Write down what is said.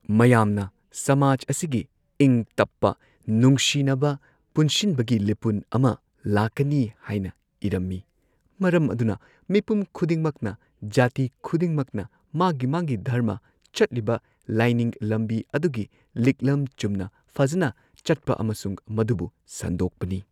ꯃꯌꯥꯝꯅ ꯁꯃꯥꯖ ꯑꯁꯤꯒꯤ ꯏꯪ ꯇꯞꯄ ꯅꯨꯡꯁꯤꯅꯕ ꯄꯨꯟꯁꯤꯟꯕꯒꯤ ꯂꯤꯄꯨꯟ ꯑꯃ ꯂꯥꯛꯀꯅꯤ ꯍꯥꯏꯅ ꯏꯔꯝꯃꯤ ꯃꯔꯝ ꯑꯗꯨꯅ ꯃꯤꯄꯨꯝ ꯈꯨꯗꯤꯡꯃꯛꯅ ꯖꯥꯇꯤ ꯈꯨꯗꯤꯡꯃꯛꯅ ꯃꯥꯒꯤ ꯃꯥꯒꯤ ꯙꯔꯃ ꯆꯠꯂꯤꯕ ꯂꯥꯏꯅꯤꯡ ꯂꯝꯕꯤ ꯑꯗꯨꯒꯤ ꯂꯤꯛꯂꯝ ꯆꯨꯝꯅ ꯐꯖꯟꯅ ꯆꯠꯄ ꯑꯃꯁꯨꯡ ꯃꯗꯨꯕꯨ ꯁꯟꯗꯣꯛꯄꯅꯤ꯫